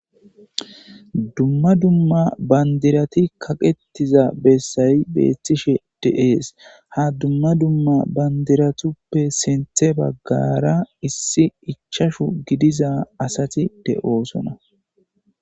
dumma dumma bandirati kaqettiza bessayi beethtishe deees ha dumma dumma bandiratuppe sinthe baggara issi ichashu gidiza asati de7oosona